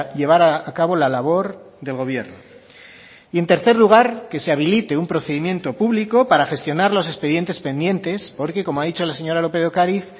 llevar a cabo la labor del gobierno y en tercer lugar que se habilite un procedimiento público para gestionar los expedientes pendientes porque como ha dicho la señora lópez de ocariz